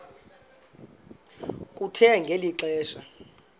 kuthe ngeli xesha